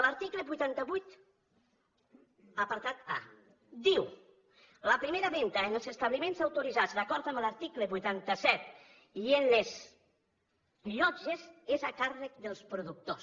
l’article vuitanta vuit apartat a diu la primera venda en els establiments autoritzats d’acord amb l’article vuitanta set i en les llotges és a càrrec dels productors